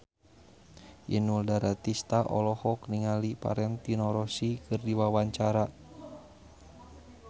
Inul Daratista olohok ningali Valentino Rossi keur diwawancara